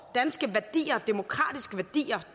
danske værdier demokratiske værdier